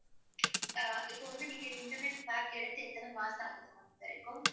அஹ் இப்ப வந்து நீங்க இன்டர்நெட் பேக் எடுத்து எத்தன மாசம் ஆகுது இப்போ